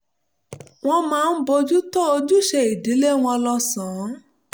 wọn máa ń bójú tó ojúṣe ìdílé wọn lọ́sàn-án